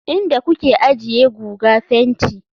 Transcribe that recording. Inda kuke ajiye guga fenti.